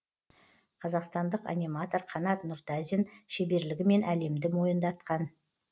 қазақстандық аниматор қанат нұртазин шеберлігімен әлемді мойындатқан